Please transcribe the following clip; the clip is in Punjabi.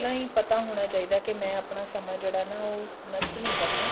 ਪਹਿਲਾਂ ਹੀ ਪਤਾ ਹੋਣਾ ਚਾਹੀਦਾ ਕੀ ਮੈਂ ਆਪਣਾ ਸਮਾਂ ਜਿਹੜਾ ਨਾ ਉਹ ਨਸ਼ਟ ਨੀ ਕਰਨਾ